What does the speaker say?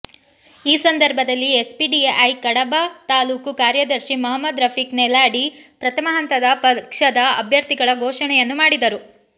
ಈ ಸಂದರ್ಭದಲ್ಲಿ ಎಸ್ಡಿಪಿಐ ಕಡಬ ತಾಲೂಕು ಕಾರ್ಯದರ್ಶಿ ಮಹಮ್ಮದ್ ರಫೀಕ್ ನೆಲ್ಯಾಡಿ ಪ್ರಥಮ ಹಂತದ ಪಕ್ಷದ ಅಭ್ಯರ್ಥಿಗಳ ಘೋಷಣೆಯನ್ನು ಮಾಡಿದರು